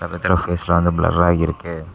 பக்கத்துல ஃபேஸ் எல்லாம் வந்து ப்ளர்ரா இருக்கு.